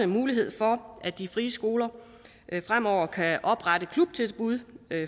mulighed for at de frie skoler fremover kan oprette klubtilbud